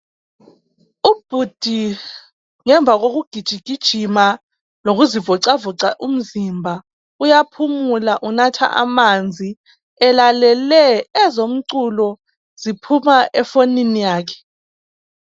Ubhudhi ngemva kukugijigijima lokuzivocavoca umzimba uyaphumula enatha amanzi elalele ezomculo ziphuma efonini yakhe.